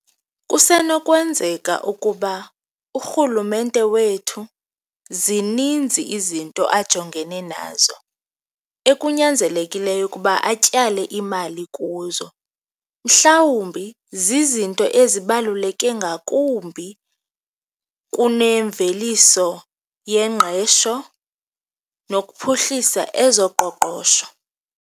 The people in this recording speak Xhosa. Kusenokwenzeka ukuba urhulumente wethu zininzi izinto ajongene nazo ekunyanzelekileyo ukuba atyale imali kuzo, mhlawumbi zizinto ezibaluleke ngakumbi kunemveliso yengqesho nokuphuhlisa ezoqoqosho.